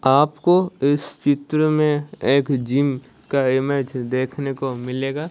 आपको इस चित्र में एक जिम का इमेज देखने को मिलेगा।